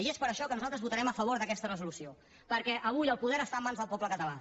i és per això que nosaltres votarem a favor d’aquesta resolució perquè avui el poder està en mans del poble català